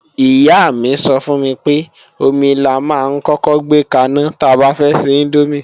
Ìyá mi sọ fún mi pé, omi la máa ń kọ́kọ́ gbé kaná ta bá fẹ́ ṣe índómì